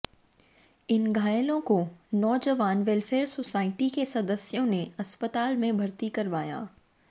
इन घायलों को Naujawan welfare society के सदस्यों ने अस्पताल में भर्ती करवाया